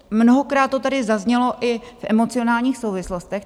Mnohokrát to tady zaznělo i v emocionálních souvislostech.